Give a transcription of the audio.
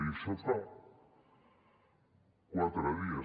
i d’això fa quatre dies